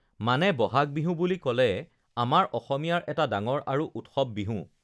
মানে ব'হাগ বিহু বুলি ক'লে আমাৰ অসমীয়াৰ এটা ডাঙৰ আৰু উৎসৱ বিহু